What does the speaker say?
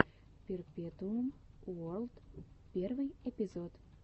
перпетуум уорлд первый эпизод